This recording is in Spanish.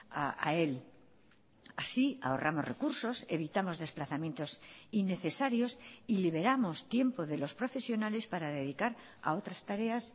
a él así ahorramos recursos evitamos desplazamientos innecesarios y liberamos tiempo de los profesionales para dedicar a otras tareas